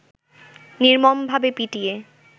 নির্মমভাবে পিটিয়ে